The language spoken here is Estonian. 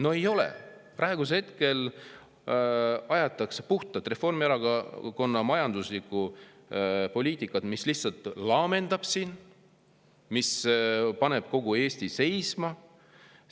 No ei ole, praegu aetakse puhtalt Reformierakonna majanduspoliitikat, mis lihtsalt laamendab siin ja paneb kogu Eesti seisma.